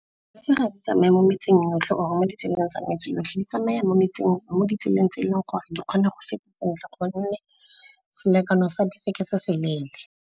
Dibese ga di tsamaye mo metseng yotlhe or mo ditseleng tsa metse yotlhe. Di tsamaya mo ditseleng tse eleng gore di kgona go feta sentle gonne selekano sa bese ke se se leele.